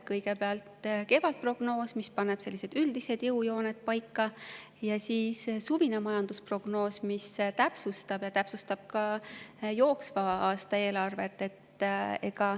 Kõigepealt on kevadprognoos, mis paneb paika üldised jõujooned, ja siis on suvine majandusprognoos, mis täpsustab, ja see täpsustab ka jooksva aasta eelarvet.